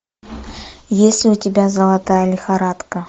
есть ли у тебя золотая лихорадка